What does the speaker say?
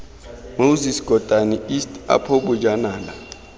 moses kotane east apo bojanala